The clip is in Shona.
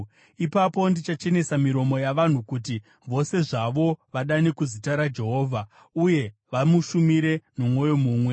“Ipapo ndichachenesa miromo yavanhu, kuti vose zvavo vadane kuzita raJehovha uye vamushumire nomwoyo mumwe.